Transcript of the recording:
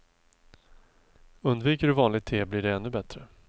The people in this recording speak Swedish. Undviker du vanligt te blir det ännu bättre.